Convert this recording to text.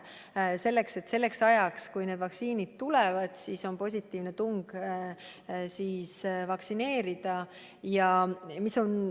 Selleks ajaks, kui need vaktsiinid tulevad, on soov vaktsineerida juba olemas.